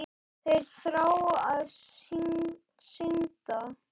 Þeir þrá að syndga.